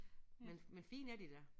Men men fine er de da